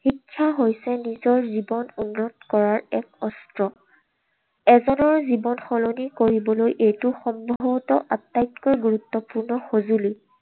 শিক্ষা হৈছে নিজৰ জীৱন উন্নত কৰাৰ এক অস্ত্ৰ। এজনৰ জীৱন সলনি কৰিবলৈ এইটো সম্ভবতঃ আটাইতকৈ গুৰুত্বপূৰ্ণ সঁজুলি।